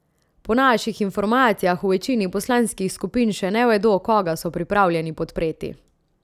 Po naših informacijah v večini poslanskih skupin še ne vedo, koga so pripravljeni podpreti.